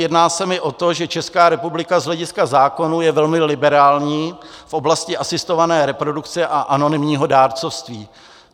Jedná se mi o to, že Česká republika z hlediska zákonů je velmi liberální v oblasti asistované reprodukce a anonymního dárcovství.